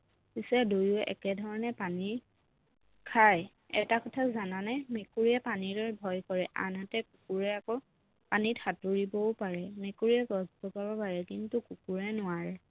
পিছে দুয়োৱে একে ধৰণে পানী খায় এটা কথা জানানে মেকুৰীয়ে পানীলৈ ভয় কৰে আনহাতে কুকুৰে আকৌ পানীত সাঁতুৰিবও পাৰে মেকুৰীয়ে গছ বগাব পাৰে কিন্তু কুকুৰে নোৱাৰে